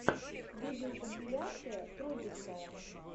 видеокомпиляция фрогистайл